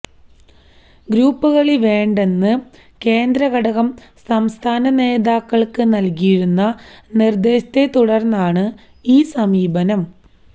ഗ്രൂപ്പുകളി വേണ്ടെന്ന് കേന്ദ്രഘടകം സംസ്ഥാന നേതാക്കൾക്ക് നൽകിയിരിക്കുന്ന നിർദ്ദേശത്തെത്തുടർന്നാണ് ഈ സമീപനം